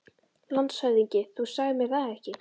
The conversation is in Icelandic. LANDSHÖFÐINGI: Þú sagðir mér það ekki.